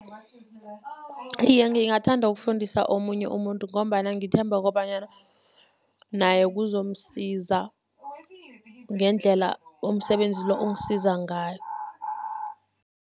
Iye, ngingathanda ukufundisa omunye umuntu, ngombana ngithemba kobanyana naye kuzomsiza ngendlela umsebenzi lo ungisiza ngayo.